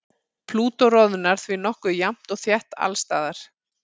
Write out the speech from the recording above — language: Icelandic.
Plútó roðnar því nokkuð jafnt og þétt alls staðar.